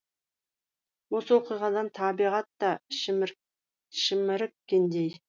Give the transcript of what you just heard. осы оқиғадан табиғат та шіміріккендей